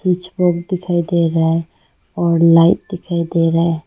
दिखाई दे रहे है और लाइट दिखाई दे रहा है।